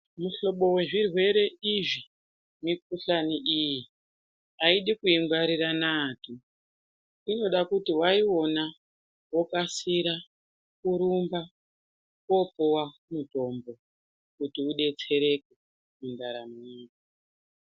Mihlobo wezvirwere izvi mikuhlani iyi ayidi kuingwarira naapi. Inoda kuti waiona wokasira kurumba koopuwa mutombo kuti udetsereke mundaramo yako.